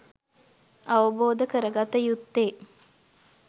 අවබෝධ කරගත යුත්තේ